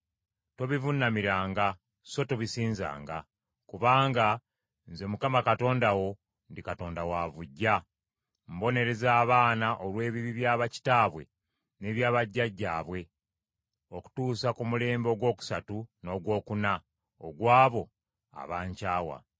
Tobivuunamiranga so tobisinzanga. Kubanga, nze Mukama Katonda wo ndi Katonda wa buggya; mbonereza abaana olw’ebibi bya bakitaabwe n’ebya bajjajjaabwe okutuusa ku mulembe ogwokusatu n’ogwokuna ogw’abo abankyawa.